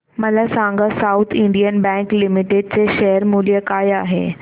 मला सांगा South Indian Bank Limited चे शेअर मूल्य काय आहे